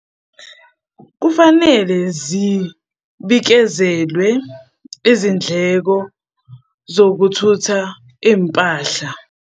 Kufanele zibikezelwe izindleko zokuthutha iy'mpahla.